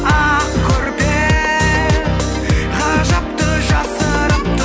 ақ көрпе ғажапты жасырыпты